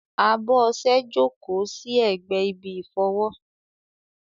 Abọ́ ọṣẹ jókòó sí ẹ̀gbẹ́ ibi ìfọwọ́.